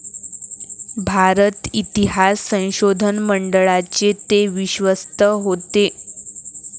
भारत इतिहास संशोधन मंडळाचे ते विश्वस्त होते.